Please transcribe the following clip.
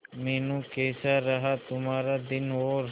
मीनू कैसा रहा तुम्हारा दिन और